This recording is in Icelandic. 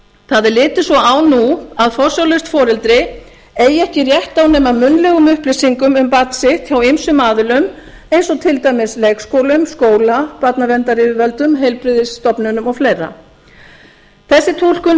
það er litið svo á nú að forsjárlaust foreldri eigi ekki rétt á nema munnlegum upplýsingum um barn sitt frá ýmsum aðilum eins og til dæmis leikskólum skóla barnaverndaryfirvöldum heilbrigðisstofnunum og fleiri þessi túlkun